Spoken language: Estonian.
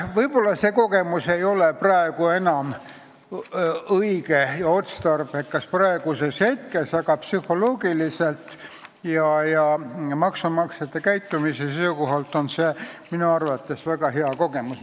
Võib-olla ei ole see kogemus praegu enam õige ja otstarbekas, aga psühholoogiliselt ja maksumaksjate käitumise seisukohalt on see minu arvates väga hea kogemus.